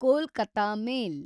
Kolkata ಮೇಲ್